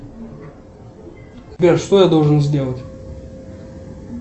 сбер что я должен сделать